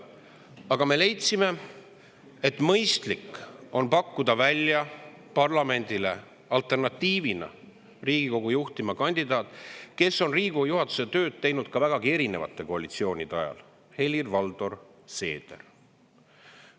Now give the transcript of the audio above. Aga me leidsime, et mõistlik on parlamendile pakkuda välja alternatiivina Riigikogu juhtima, kes on Riigikogu juhatuse tööd teinud vägagi erinevate koalitsioonide ajal – Helir-Valdor Seeder.